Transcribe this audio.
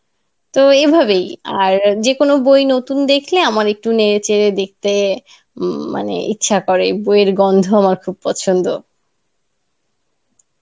তো এভাবেই আর যেকোনো বই নতুন দেখলেই আমার একটু নেড়ে চেড়ে দেখতে ইম মানে ইচ্ছা করে বইয়ের গন্ধ আমার খুব পছন্ধ